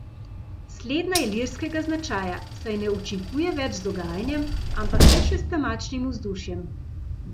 Slednja je lirskega značaja, saj ne učinkuje več z dogajanjem, ampak le še s temačnim vzdušjem.